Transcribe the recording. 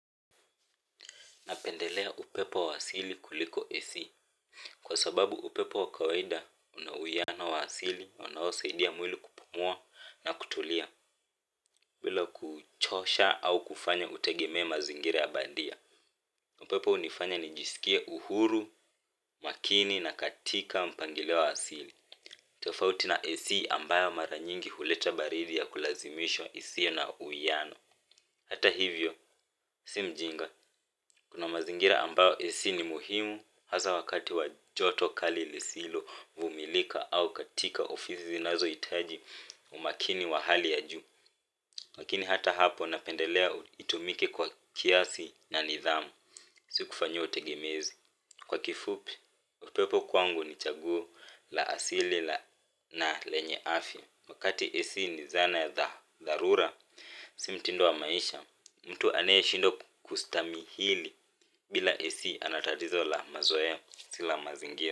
Napendelea upepo wa asili kuliko AC. Kwa sababu upepo wakawaida una humanoid wa asili unaosaidia mwili kupumua na kutulia. Bila kuchosha au kufanya utegemee mazingira ya bandia upepo hunifanya nijisikia uhuru, makini na katika mpangilio wa asili. Tufauti na AC ambayo mara nyingi huleta baridi ya kulazimishwa isiyo na uhuiano hata hivyo, sio ujinga. Kuna mazingira ambayo AC ni muhimu hasa wakati wa joto kali lisilovumilika au katika ofisi zinazohitaji umakini wa hali ya juu. Lakini hata hapo napendelea itumike kwa kiasi na nidhamu. Si kufanyiwa tegemezi. Kwa kifupi, upepo kwangu ni chaguo la asili na lenye afya. Wakati AC ni zana ya dharura, si mtindo wa maisha mtu anayeshindwa kustahimili bila AC ana tatizo la mazoe si la mazingira.